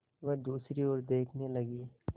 वह दूसरी ओर देखने लगी